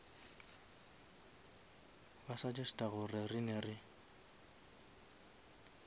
ba suggesta gore rena re